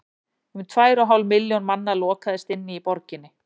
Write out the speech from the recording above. um tvær og hálf milljón manna lokaðist inni í borginni